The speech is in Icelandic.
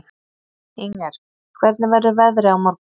Inger, hvernig verður veðrið á morgun?